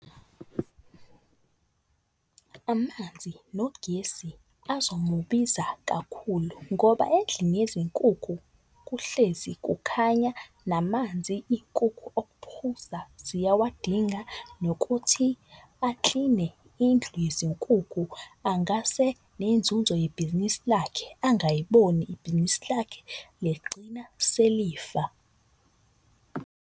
Amanzi nogesi azomubiza kakhulu ngoba endlini yezinkukhu kuhlezi kukhanya namanzi iy'nkukhu okuphuza ziyawadinga. Nokuthi akline indlu yezinkukhu angase nenzunzo yebhizinisi lakhe angiyiboni. Ibhizinisi lakhe ligcina selifa.